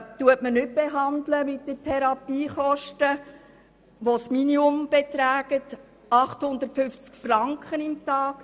Diese behandelt man nicht mit den minimalen Therapiekosten von 850 Franken pro Tag.